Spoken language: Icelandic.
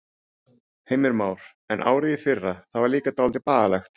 Heimir Már: En árið í fyrra, það var líka dálítið bagalegt?